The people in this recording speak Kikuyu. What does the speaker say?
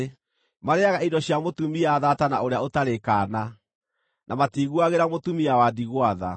Marĩĩaga indo cia mũtumia thaata na ũrĩa ũtarĩ kaana, na matiiguagĩra mũtumia wa ndigwa tha.